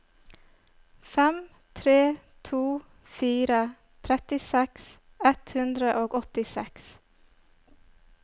fem tre to fire trettiseks ett hundre og åttiseks